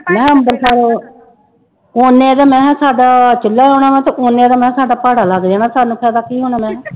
ਮੈਂ ਕਿਹਾ ਅੰਬਰਸਰ ਓਨੇ ਚ ਮੈਂ ਕਿਹਾ ਸਾਡਾ ਚੁੱਲਾ ਆਉਣਾ ਵਾਂ ਤੇ ਓਨੇ ਦਾ ਮੈਂ ਕਿਹਾ ਸਾਡਾ ਭਾੜਾ ਲੱਗ ਜਾਣਾ ਸਾਨੂੰ ਫ਼ਾਇਦਾ ਕੀ ਹੋਣਾ